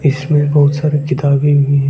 इसमें बहुत सारी किताबें भी--